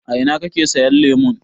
A ina kake sayan lemon?